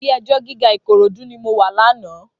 Ilé èjò gigá Ikorodu ni mó wà làná